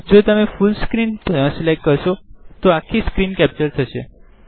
જો તમે full screen select કરશો તો આખી સ્ક્રીન કેપ્ચર થશે